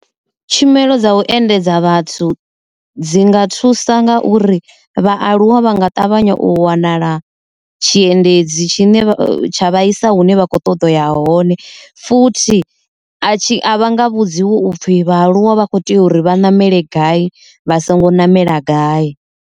Tshumelo dza u endedza vhathu dzi nga thusa nga uri vhaaluwa vha nga ṱavhanya u wanala tshiendedzi tshine tsha vha isa hune vha kho ṱoḓa uya hone, futhi a tshi a vha nga vhudziwa upfhi vha aluwa vha kho tea uri vha ṋamele gai vha songo namela gai.